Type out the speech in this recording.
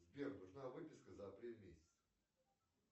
сбер нужна выписка за апрель месяц